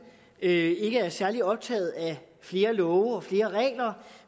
ikke er særlig optaget af flere love og flere regler